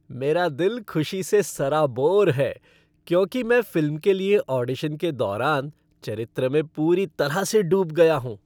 मेरा दिल खुशी से सराबोर है क्योंकि मैं फ़िल्म के लिए ऑडिशन के दौरान चरित्र में पूरी तरह से डूब गया हूँ।